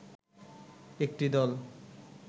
একটি দল